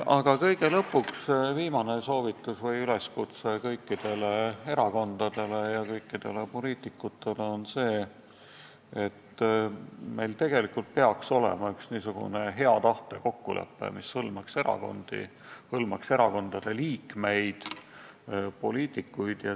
Aga kõige viimane üleskutse kõikidele erakondadele ja kõikidele poliitikutele on see, et me tegelikult peaks sõlmima hea tahte kokkuleppe, mis hõlmaks erakondi, hõlmaks erakondade liikmeid, üldse poliitikuid.